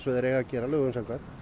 þeir eiga að gera lögum samkvæmt